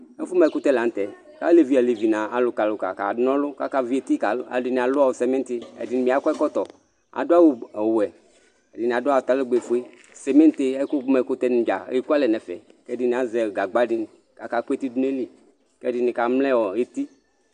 ɛfũ mă ɛkʊtɛ lan'tɛ alévi nʊ alʊka kanɔlʊ akavieti k'aluedini lʊ cimitï edini bia kɔɛkɔtɔ adu awʊ ɔwɛ edini adũ atalɛgbɛ fũe cimiti ɛkũ mɛkũtɛ nï dza ékualẽ nɛfɛ k'ɛdinï azɛ gagba di kakakũ étị dunaili k'ẽdinï kamlɛɔ éti